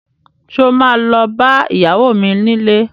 Sọ ma lọ bá ìyàwó mi nílé?